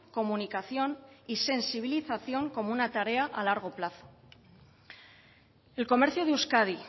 comunicación y sensibilización como una tarea a largo plazo el comercio de euskadi